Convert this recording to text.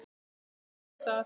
Já, ég þurfti aðeins að.